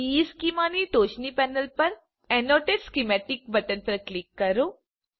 ઇશ્ચેમાં ની ટોચની પેનલ પરAnnotate સ્કીમેટિક બટન પર ક્લિક કરો